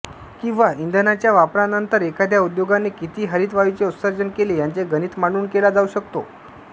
किंवा इंधनाच्या वापरानंतर एखाद्या उद्योगाने किती हरितवायूंचे उत्सर्जन केले याचे गणित मांडून केला जाऊ शकतो